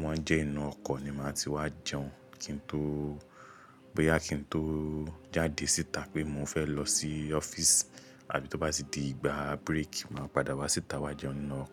wọ́n jẹ́ inú ọkọ̀ ni màá ti wá jẹun kí n tó, bóyá kí n tó jáde síta pé mo fẹ́ lọ sí ọ́fíìsì a àbí tó bá ti di ìgbà bírèkì, màá padà wá síta wá jẹun nínú ọkọ̀